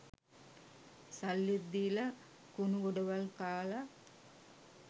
සල්ලිත් දීල කුනුගොඩවල් කාල